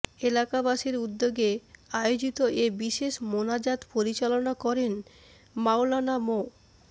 এলাকাবাসীর উদ্যোগে আয়োজিত এ বিশেষ মোনাজাত পরিচালনা করেন মাওলানা মো